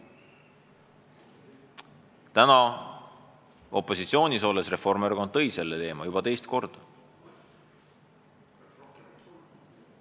Nüüd opositsioonis olles tõi Reformierakond selle teema saali juba teist korda.